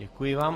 Děkuji vám.